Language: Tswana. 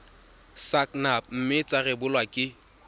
sacnap mme tsa rebolwa ke